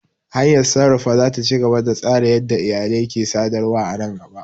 Hanyar sarrafa za ta ci gaba da tsara yadda iyalai ke sadarwa a nan gaba.